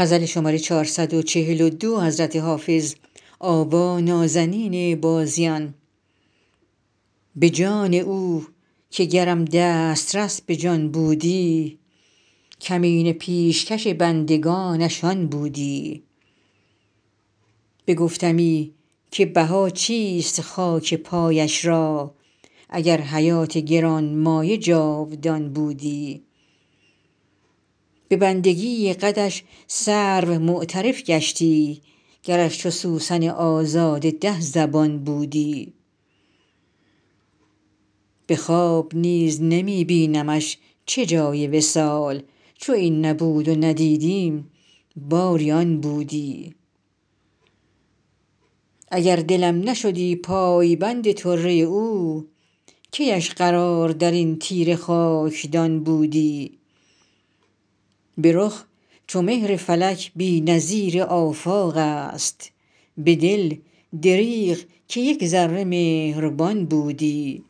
به جان او که گرم دسترس به جان بودی کمینه پیشکش بندگانش آن بودی بگفتمی که بها چیست خاک پایش را اگر حیات گران مایه جاودان بودی به بندگی قدش سرو معترف گشتی گرش چو سوسن آزاده ده زبان بودی به خواب نیز نمی بینمش چه جای وصال چو این نبود و ندیدیم باری آن بودی اگر دلم نشدی پایبند طره او کی اش قرار در این تیره خاکدان بودی به رخ چو مهر فلک بی نظیر آفاق است به دل دریغ که یک ذره مهربان بودی